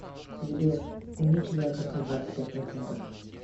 сбер уменьши яркость на двадцать пять процентов